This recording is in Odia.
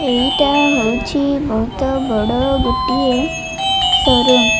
ଏଇଟା ହେଉଛି ବୋହୁତ ବଡ଼ ଗୋଟିଏ ସୋ ରୁମ୍ ।